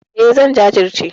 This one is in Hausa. E, zan jajirce.